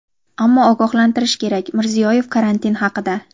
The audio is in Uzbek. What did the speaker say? ammo ogohlantirish kerak – Mirziyoyev karantin haqida.